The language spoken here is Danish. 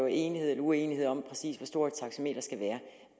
enighed eller uenighed om præcis hvor stort et taxameter skal være